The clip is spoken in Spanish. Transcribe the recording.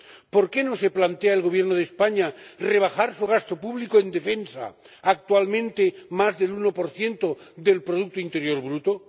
¿Por qué no se plantea el Gobierno de España rebajar su gasto público en defensa, actualmente más del 1 del Producto Interior Bruto?